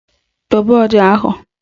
Dobe ọja ahụ!